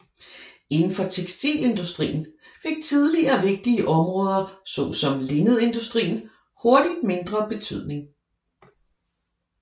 Indenfor tekstilindustrien fik tidligere vigtige områder såsom linnedindustrien hurtigt mindre betydning